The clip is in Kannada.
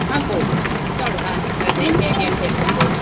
ಆಗ್ಬಹುದು ನೋಡುವ ಹಾಗೆ ಅದೇ ಹೇಗೆ ಆಂತ ಹೇಳಿ ಒಂದು.